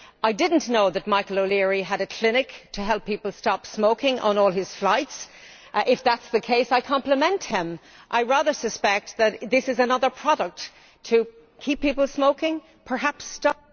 I did not know that Michael O'Leary had a clinic to help people stop smoking on all his flights. If that is the case, I compliment him. I rather suspect that this is another product to keep people smoking, perhaps stop